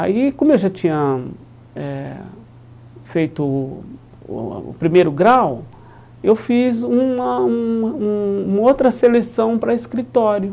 Aí, como eu já tinha eh feito o o o primeiro grau, eu fiz uma uma um uma outra seleção para escritório.